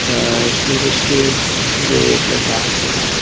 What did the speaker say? त सूरज के जो परकाश ह--